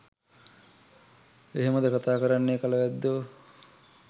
එහෙමද කතා කරන්නෙ කලවැද්දෝ?